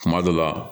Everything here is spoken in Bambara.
Kuma dɔ la